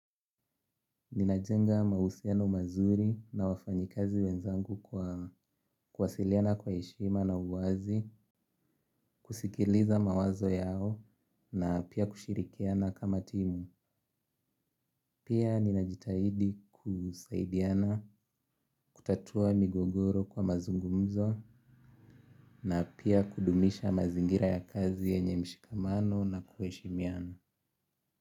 Ninajenga mahusiano mazuri na wafanyikazi wenzangu kwa kuwasiliana kwa heshima na uwazi, kusikiliza mawazo yao na pia kushirikiana kama timu. Pia ninajitahidi kusaidiana, kutatua migogoro kwa mazungumzo na pia kudumisha mazingira ya kazi yenye mshikamano na kuheshimiana.